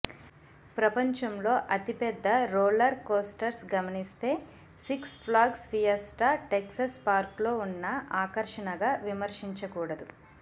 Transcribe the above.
ప్రపంచంలో అతిపెద్ద roller coasters గమనిస్తే Six Flags Fiesta Texas park లో ఉన్న ఆకర్షణగా విస్మరించకూడదు